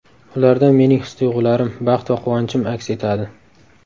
Ularda mening his-tuyg‘ularim, baxt va quvonchim aks etadi.